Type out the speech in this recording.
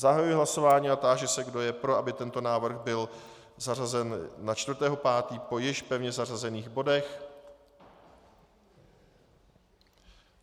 Zahajuji hlasování a táži se, kdo je pro, aby tento bod byl zařazen na 4. 5. po již pevně zařazených bodech.